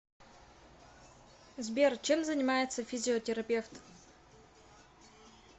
сбер чем занимается физиотерапевт